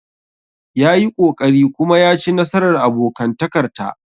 Ya yi ƙoƙari kuma ya ci nasarar abokantakar ta.